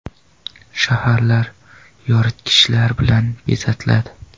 Shaharlar yoritgichlar bilan bezatiladi.